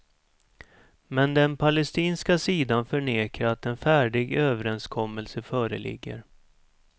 Men den palestinska sidan förnekar att en färdig överenskommelse föreligger.